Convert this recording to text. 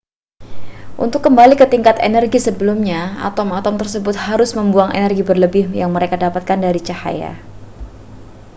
untuk kembali ke tingkat energi sebelumnya atom-atom tersebut harus membuang energi berlebih yang mereka dapatkan dari cahaya